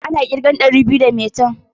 Wani zubin ana ƙirgen ɗari biyu da maitan.